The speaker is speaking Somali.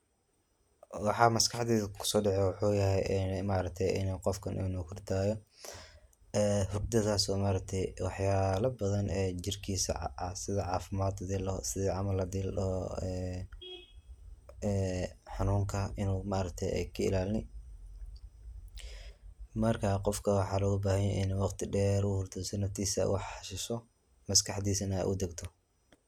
Waxa maskaxdeyda kuso dhaca wuxu yahay ee ma aragte inu qofkan inu hurdaayo, hurdadas oo ma aragte waxyala badan jirkiisa sidi caafimad hadii ladhoho, sida camal hadii ladhoho ee xanunka ay ka ilaalini, marka qofka waxa loga bahan yahay inu waqti dheer u hurdo si naftiisa u xasisho, maskaxdiisa na udegto